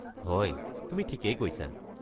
হয়, তুমি ঠিকেই কৈছা।